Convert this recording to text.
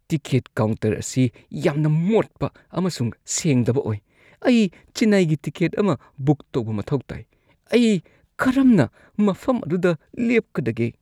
Ticket counter ꯑꯁꯤ ꯌꯥꯝꯅ ꯃꯣꯠꯄ ꯑꯃꯁꯨꯡ ꯁꯦꯡꯗꯕ ꯑꯣꯏ ꯫ ꯑꯩ ꯆꯦꯟꯅꯥꯏꯒꯤ ꯇꯤꯀꯦꯠ ꯑꯃ ꯕꯨꯛ ꯇꯧꯕ ꯃꯊꯧ ꯇꯥꯏ, ꯑꯩ ꯀꯔꯝꯅ ꯃꯐꯝ ꯑꯗꯨꯗ ꯂꯦꯞꯀꯗꯒꯦ?